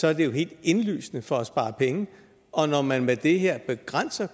er det jo helt indlysende for at spare penge og når man med det her begrænser